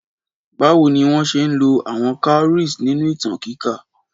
Báwo ni wọ́n ṣe ń lo àwọn cowries nínú ìtàn kíkà?